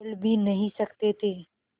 बोल भी नहीं सकते थे